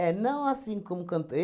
não assim como canto